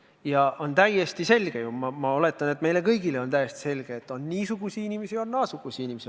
Ja on ju täiesti selge – ma oletan, et meile kõigile on täiesti selge –, et on niisuguseid inimesi ja on naasuguseid inimesi.